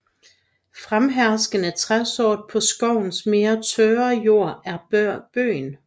Fremherskende træsort på skovens mere tørre jord er bøgen